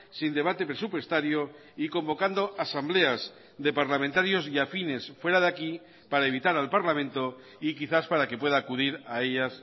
sin debate presupuestario y convocando asambleas de parlamentarios y afines fuera de aquí para evitar al parlamento y quizás para que pueda acudir a ellas